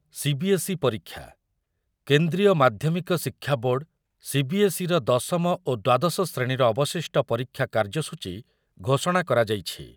CBSE ପରୀକ୍ଷା, କେନ୍ଦ୍ରୀୟ ମାଧ୍ୟମିକ ଶିକ୍ଷା ବୋର୍ଡ଼ ସିବିଏସ୍ଇର ଦଶମ ଓ ଦ୍ୱାଦଶ ଶ୍ରେଣୀର ଅବଶିଷ୍ଟ ପରୀକ୍ଷା କାର୍ଯ୍ୟସୂଚୀ ଘୋଷଣା କରାଯାଇଛି।